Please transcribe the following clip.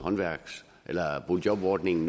boligjobordningen